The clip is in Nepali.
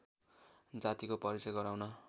जातिको परिचय गराउन